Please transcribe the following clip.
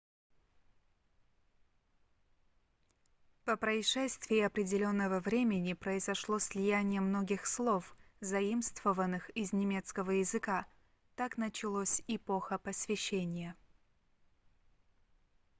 по прошествии определенного времени произошло слияние многих слов заимствованных из немецкого языка так началось эпоха просвещения